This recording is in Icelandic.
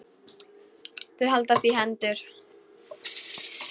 Þau haldast í hendur.